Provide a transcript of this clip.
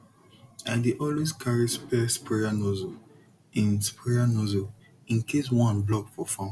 i dey always carry spare sprayer nozzle in sprayer nozzle in case one block for farm